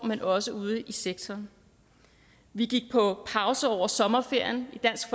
men også ude i sektoren vi gik på pause over sommerferien i dansk